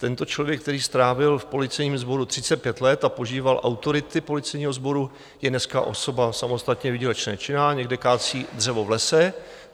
Tento člověk, který strávil v policejním sboru 35 let a požíval autority policejního sboru, je dneska osoba samostatně výdělečně činná, někde kácí dřevo v lese.